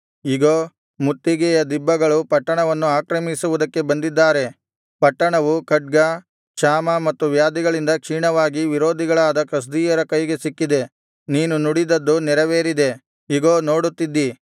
ಇಗೋ ಮುತ್ತಿಗೆಯ ದಿಬ್ಬಗಳು ಪಟ್ಟಣವನ್ನು ಆಕ್ರಮಿಸುವುದಕ್ಕೆ ಬಂದಿದ್ದಾರೆ ಪಟ್ಟಣವು ಖಡ್ಗ ಕ್ಷಾಮ ಮತ್ತು ವ್ಯಾಧಿಗಳಿಂದ ಕ್ಷೀಣವಾಗಿ ವಿರೋಧಿಗಳಾದ ಕಸ್ದೀಯರ ಕೈಗೆ ಸಿಕ್ಕಿದೆ ನೀನು ನುಡಿದದ್ದು ನೆರವೇರಿದೆ ಇಗೋ ನೋಡುತ್ತಿದ್ದಿ